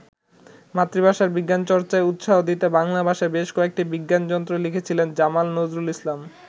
মাতৃভাষায় বিজ্ঞানচর্চায় উৎসাহ দিতে বাংলা ভাষায় বেশ কয়েকটি বিজ্ঞানগ্রন্থ লিখেছিলেন জামাল নজরুল ইসলাম।